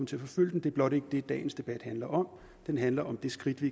til at forfølge den det er blot ikke det dagens debat handler om den handler om det skridt vi